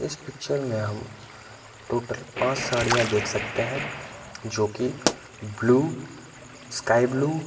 इस पिक्चर में हम टोटल पाँच साड़ियाँ देख सकते हैं जोकि ब्लू स्काई ब्लू --